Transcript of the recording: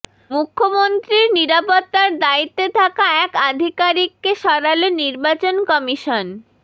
মুখ্যমন্ত্রীর নিরাপত্তার দায়িত্বে থাকা এক আধিকারিককে সরাল নির্বাচন কমিশন